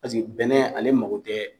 Pasiki bɛnɛ ale mago tɛ